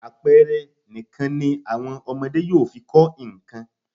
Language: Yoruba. Àpẹẹre nìkan ni àwọn ọmọdé yóò fi kọ nǹkan.